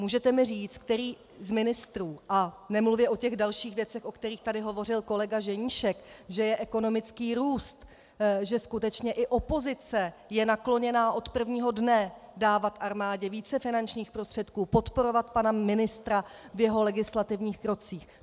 Můžete mi říct, který z ministrů - a nemluvě o těch dalších věcech, o kterých tady hovořil kolega Ženíšek, že je ekonomický růst, že skutečně i opozice je nakloněna od prvního dne dávat armádě více finančních prostředků, podporovat pana ministra v jeho legislativních krocích.